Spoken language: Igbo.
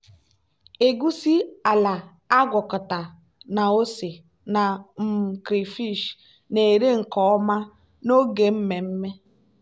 egusi ala agwakọta na ose na um crayfish na-ere nke ọma n'oge mmemme.